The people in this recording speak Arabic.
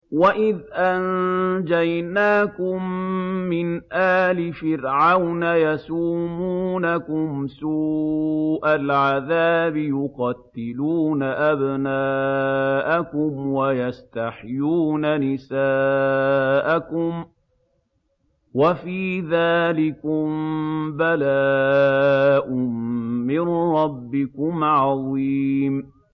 وَإِذْ أَنجَيْنَاكُم مِّنْ آلِ فِرْعَوْنَ يَسُومُونَكُمْ سُوءَ الْعَذَابِ ۖ يُقَتِّلُونَ أَبْنَاءَكُمْ وَيَسْتَحْيُونَ نِسَاءَكُمْ ۚ وَفِي ذَٰلِكُم بَلَاءٌ مِّن رَّبِّكُمْ عَظِيمٌ